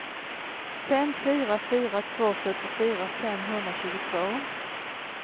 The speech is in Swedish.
fem fyra fyra två fyrtiofyra femhundratjugotvå